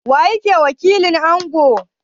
Waye wakilin Angon?